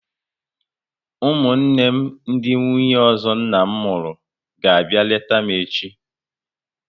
Ụmụnne m ndị nwunye ọzọ nna m mụrụ ga abịa leta m echi